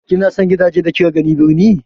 Kina son gidajen da kika gani birni.